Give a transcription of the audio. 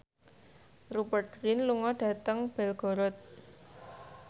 Rupert Grin lunga dhateng Belgorod